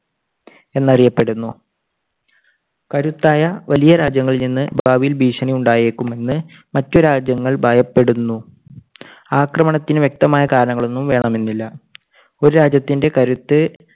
എന്നറിയപ്പെടുന്നു. കരുത്തായ വലിയ രാജ്യങ്ങളിൽനിന്ന് ഭാവിയിൽ ഭീഷണി ഉണ്ടായേക്കുമെന്ന് മറ്റു രാജ്യങ്ങൾ ഭയപ്പെടുന്നു. ആക്രമണത്തിന് വ്യക്തമായ കാരണങ്ങൾ ഒന്നും വേണമെന്നില്ല. ഒരു രാജ്യത്തിൻറെ കരുത്ത്